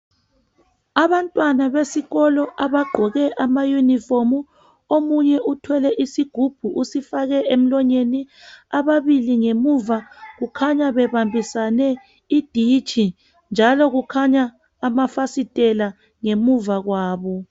Abantwana besikolo abagqoke amayunifomu, omunye uthwele isigubhu usifake emlonyeni, ababili ngemuva kukhanya bebambisane iditshi njalo kukhanya amafasitela ngemuva kwabo.